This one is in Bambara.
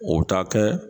O bɛ taa kɛ